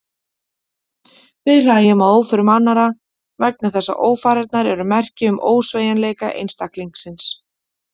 Við hlæjum að óförum annarra vegna þess að ófarirnar eru merki um ósveigjanleika einstaklingsins.